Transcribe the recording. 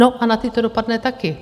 No a na ty to dopadne taky.